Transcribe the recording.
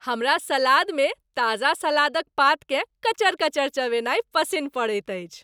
हमरा सलादमे ताजा सलाद क पात केँ कचर कचर चिबेनाइ पसिन्न पड़ैत अछि।